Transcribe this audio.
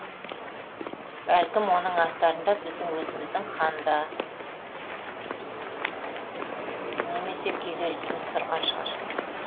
бәлкім оның астарында біздің өзіміздің ханда немесе күйзелісіміз тұрған шығар